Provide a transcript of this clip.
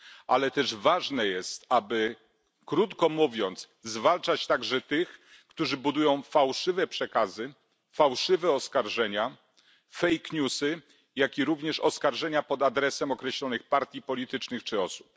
Ale też ważne jest, aby, krótko mówiąc, zwalczać także tych, którzy budują fałszywe przekazy, fałszywe oskarżenia, fake newsy, jak również oskarżenia pod adresem określonych partii politycznych czy osób.